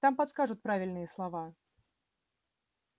там подскажут правильные слова